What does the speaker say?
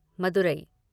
Madurai